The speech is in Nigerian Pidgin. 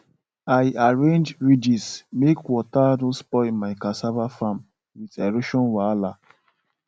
i arrange ridges make water no spoil my cassava farm with erosion wahala